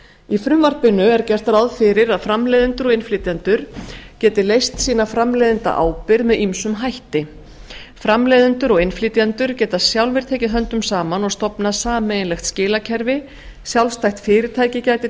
í frumvarpinu er gert ráð fyrir að framleiðendur og innflytjendur geti leyst sína framleiðendaábyrgð með ýmsum hætti framleiðendur og innflytjendur geta sjálfir tekið höndum saman og stofnað sameiginlegt skilakerfi sjálfstætt fyrirtæki gæti